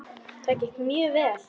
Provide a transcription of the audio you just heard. Það gekk mjög vel.